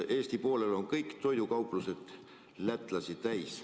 Eesti poolel on kõik toidukauplused lätlasi täis.